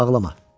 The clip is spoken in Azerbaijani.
Ağlama!